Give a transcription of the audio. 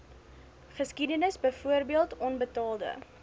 geskiedenis byvoorbeeld onbetaalde